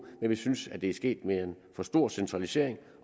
men vi synes at det er sket med en for stor centralisering